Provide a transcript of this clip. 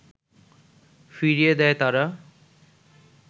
ফিরিয়ে দেয় তারা